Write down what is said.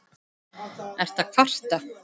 Ertu að kvarta?